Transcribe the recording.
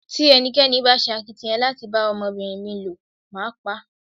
Tí ẹnikẹ́ni bá ṣe akitiyan láti bá ọmọbìnrin mi ló, mo máa pá.